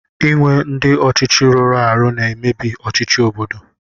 Ịnwe ndị ọchịchị rụrụ arụ na-emebi ọchịchị obodo